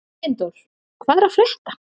Steindór, hvað er að frétta?